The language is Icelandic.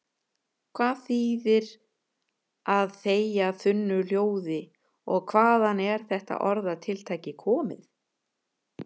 Hvað þýðir að þegja þunnu hljóði og hvaðan er þetta orðatiltæki komið?